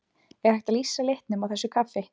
Er hægt að lýsa litnum á þessu kaffi?